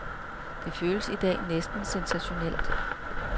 Det føles i dag næsten sensationelt.